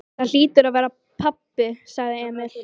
Það hlýtur að vera pabbi, sagði Emil.